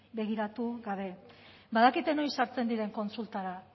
begiratu gabe badakite noiz sartzen diren kontsultara